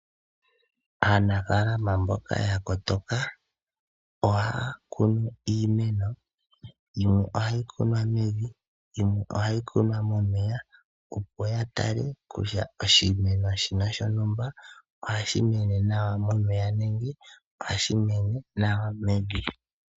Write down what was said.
Aanafalama mboka ya kotoka ohaya kunu iimeno yimwe ohayi kunwa mevi yimwe ohayi kunwa momeya opo ya tale kutya oshimeno shino shontumba ohashi mene nawa momeya nenge ohashi mene nawa mevi